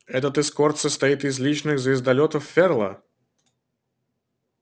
этот эскорт состоит из личных звездолётов ферла